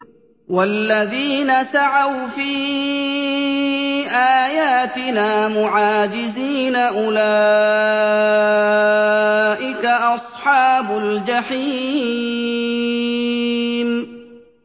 وَالَّذِينَ سَعَوْا فِي آيَاتِنَا مُعَاجِزِينَ أُولَٰئِكَ أَصْحَابُ الْجَحِيمِ